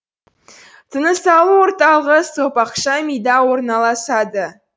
тынысалу орталыгы сопақша мида орналасады